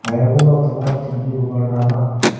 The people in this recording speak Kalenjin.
ngoyae kunoto komakchini biik koba oldab maat